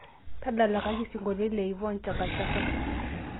tadalakaki isingolioitin le yvonne chaka chaka